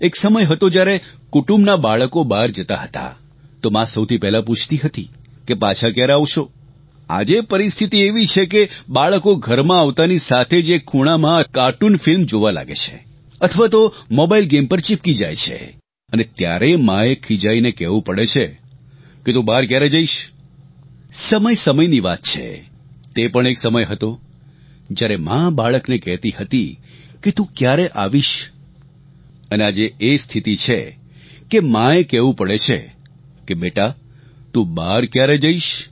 એક સમય હતો જ્યારે કુટુંબના બાળકો બહાર જતા હતા તો માં સૌપહેલા પૂછતી હતી કે પાછા ક્યારે આવશો આજે પરિસ્થિતિ એવી છે કે બાળકો ઘરમાં આવતાની સાથે જ એક ખૂણામાં કાર્ટૂન ફિલ્મ જોવા લાગે છે અથવા તો મોબાઇલ ગેમ પર ચિપકી જાય છે અને ત્યારે માંએ ખિજાઇને કહેવું પડે છે કે તું બહાર ક્યારે જઇશ સમયસમયની વાત છે તે પણ એક સમય હતો જ્યારે માં બાળકને કહેતી હતી કે તું ક્યારે આવીશ અને આજે એ સ્થિતિ છે કે માંએ કહેવું પડે છે કે બેટા તું બહાર ક્યારે જઇશ